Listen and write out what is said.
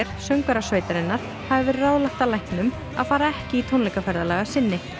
söngvara sveitarinnar hafi verið ráðlagt af læknum að fara ekki í tónleikaferðalag að sinni